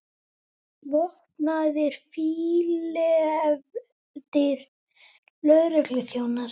Vopnaðir, fílefldir lögregluþjónar!